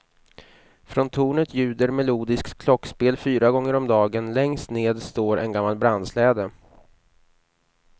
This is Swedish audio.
Från tornet ljuder melodiskt klockspel fyra gånger om dagen, längst ned står en gammal brandsläde.